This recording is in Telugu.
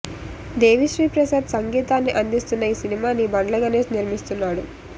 దేవీ శ్రీ ప్రసాద్ సంగీతాన్ని అందిస్తున్న ఈ సినిమాని బండ్ల గణేష్ నిర్మిస్తున్నాడు